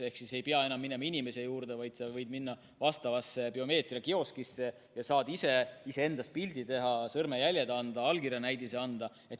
Ehk ei pea enam minema inimese juurde, vaid sa võid minna biomeetriakioskisse ja saad ise endast pildi teha, sõrmejäljed anda, allkirjanäidise anda.